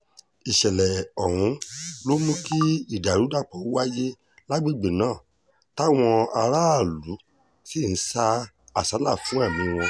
ìṣẹ̀lẹ̀ ọ̀hún ló mú kí ìdàrúdàpọ̀ wáyé lágbègbè náà táwọn aráàlú sì ń sá àsálà fún ẹ̀mí wọn